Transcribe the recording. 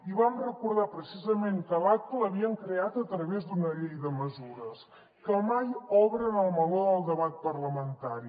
i vam recordar precisament que l’aca l’havien creat a través d’una llei de mesures que mai obren el meló del debat parlamentari